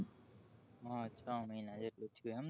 હ છ મહિના જેટલું જ થયું એમ ને